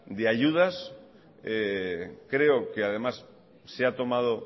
de ayudas creo que además se ha tomado